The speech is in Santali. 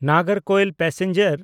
ᱱᱟᱜᱚᱨᱠᱳᱭᱤᱞ ᱯᱮᱥᱮᱧᱡᱟᱨ